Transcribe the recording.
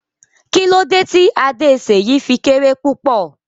Kí lódẹ tí Adé Seyi fí kéré púpọ̀?